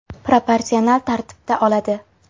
Proporsional tartibda oladi.